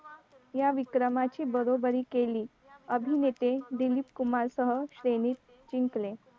या विक्रमाची बरोबरी केली अभिनेते दिलीप कुमार सह श्रेणी जिंकले